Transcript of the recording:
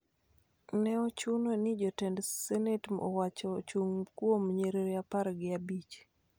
Ne ochuno ni jotend senet owacho ochung� kuom nyiriri apar gi abich